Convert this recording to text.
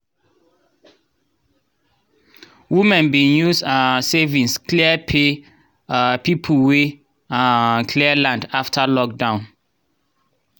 women bin use um savings clear pay um people wey um clear land after lockdown.